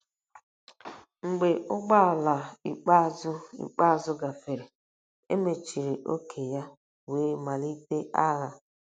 um Mgbe ụgbọ ala ikpeazụ ikpeazụ gafere, e mechiri ókè ya wee malite agha.